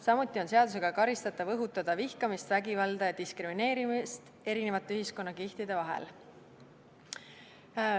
Samuti on seadusega keelatud ja karistatav õhutada vihkamist, vägivalda ja diskrimineerimist erinevate ühiskonnakihtide vahel.